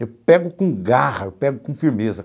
Eu pego com garra, eu pego com firmeza.